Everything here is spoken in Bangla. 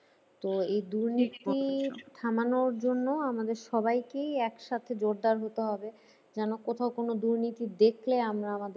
তো এই দুর্নীতি থামানোর জন্য আমাদের সবাইকেই এক সাথে জোরদার হতে হবে। যেন কোথাও কোনো দুর্নীতি দেখলে আমরা আমাদের